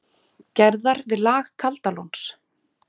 Gerðar, við lag Kaldalóns.